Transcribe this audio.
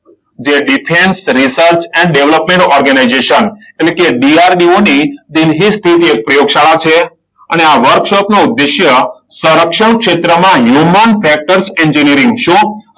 જે defence research and development organisation એટલે કે DRDO ની દિલ્હી સ્થિત પ્રયોગશાળા છે. અને આ વર્કશોપનો ઉદ્દેશ્ય સંરક્ષણ ક્ષેત્રમાં હ્યુમન ફેક્ટર્સ એન્જિનિયરિંગ. શું?